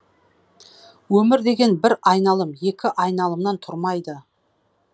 өмір деген бір айналым екі айналымнан тұрмайды